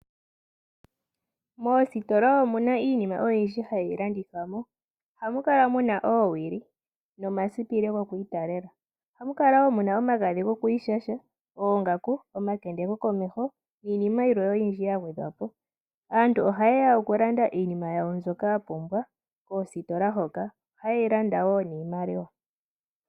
Moositola omuna iinima oyindji hayi landithwa mo, ohamu kala muna oowili, omasipili gokwiitalela, oongaku, omagadhi gwokiishasha nayilwe yagwedhwa po. Aantu oha yeya okulanda iinima yawo mbyoka ya pumbwa koositola hoka noha yeyi landa niimaliwa.